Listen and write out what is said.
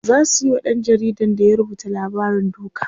zasu Yi wa ɗan jaridan da ya rubuta labarin duka